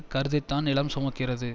கருதித்தான் நிலம் சுமக்கிறது